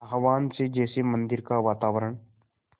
आह्वान से जैसे मंदिर का वातावरण